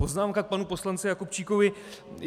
Poznámka k panu poslanci Jakubčíkovi.